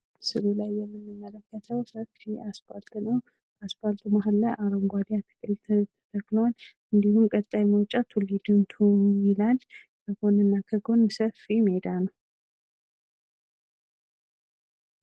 ምስሉ ላይ የምንመለከተው ሰፊ አስፖልት ነው። አስፖልቱ ማህል ላይ አረንጓዴ አትክልት ተተክሏል ።እንዲሁም ቀጣይ መውጫ ቱሊ-ዲምቱ ይላል ። ከጎን እና ከጎን ሰፊ ሜዳ ነው ።